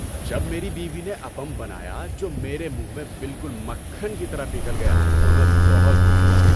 جب میری بیوی نے اپم بنایا جو میرے منہ میں بالکل مکھن کی طرح پگھل گیا تو میں بہت خوش ہوا۔